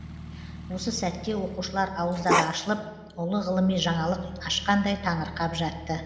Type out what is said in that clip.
осы сәтте оқушылар ауыздары ашылып ұлы ғылыми жаңалық ашқандай таңырқап жатты